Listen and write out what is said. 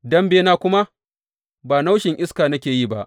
Dambena kuma ba naushin iska nake yi ba.